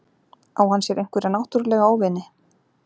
Á hann sér einhverja náttúrulega óvini?